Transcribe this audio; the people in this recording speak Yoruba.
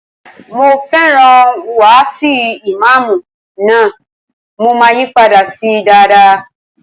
Mo fẹ́ràn wáàsi ìmáàmù náà, mo máa yí padà sí dáadáa.